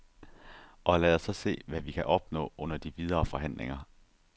Og lad os så se, hvad vi kan opnå under de videre forhandlinger.